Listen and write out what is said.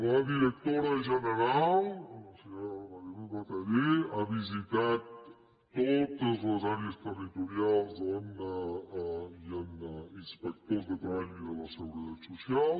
la directora general la senyora mari luz bataller ha visitat totes les àrees territorials on hi han inspectors de treball i de la seguretat social